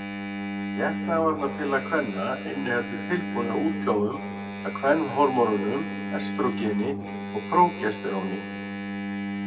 Getnaðarvarnarpilla kvenna inniheldur tilbúnar útgáfur af kvenhormónunum estrógeni og prógesteróni.